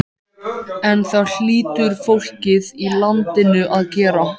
En það hlýtur fólkið í landinu að gera.